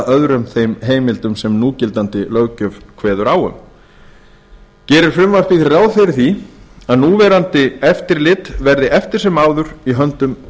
öðrum þeim heimildum sem núgildandi löggjöf kveður á um gerir frumvarpið því ráð fyrir að núverandi eftirlit verði eftir sem áður í höndum